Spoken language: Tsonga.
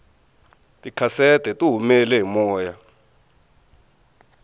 tikhasete tihumele hi moya